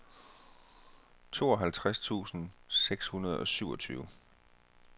tooghalvtreds tusind seks hundrede og syvogtyve